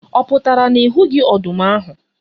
Ọ pụtara na ị hụghị ọdụm ahu